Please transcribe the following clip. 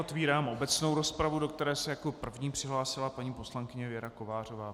Otevírám obecnou rozpravu, do které se jako první přihlásila paní poslankyně Věra Kovářová.